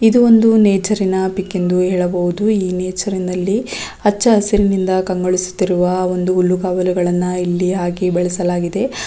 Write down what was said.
ಇದು ಒಂದು ನೇಚರಿ ನ ಪಿಕ್ ಎಂದು ಹೇಳಬಹುದು ಈ ನೇಚರಿ ನಲ್ಲಿ ಹಚ್ಚ ಹಸಿರಿನಿಂದ ಕಂಗೊಳಿಸುತ್ತಿರುವ ಒಂದು ಹುಲ್ಲುಗಾವಲುಗಳನ್ನು ಇಲ್ಲಿ ಹಾಕಿ ಬೆಳೆಸಲಾಗಿದೆ.